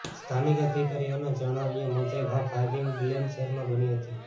સ્થાનિક અધિકારીઓના જણાવ્યા મુજબ આ ફારયિંગ બેલેમ શહેરમાં બની હતી